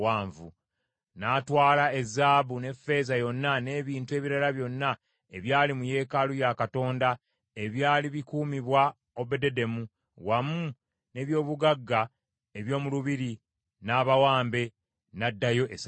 N’atwala ezaabu n’effeeza yonna, n’ebintu ebirala byonna ebyali mu yeekaalu ya Katonda ebyali bikuumibwa Obededomu, wamu n’eby’obugagga eby’omu lubiri, n’abawambe, n’addayo e Samaliya.